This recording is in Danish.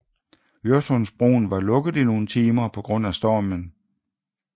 Øresundsbroen var lukket i nogle timer på grund af stormen